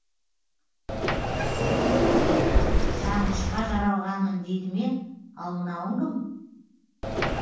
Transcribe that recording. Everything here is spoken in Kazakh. сағынышқа жаралғанмын дейді ме ал мынауың кім